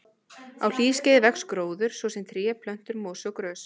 Á hlýskeiði vex gróður, svo sem tré, plöntur, mosi og grös.